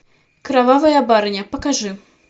кровавая барыня покажи